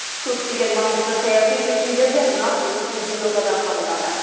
көптеген маңызды саяси шешімдер де нақ осы елордада қабылданды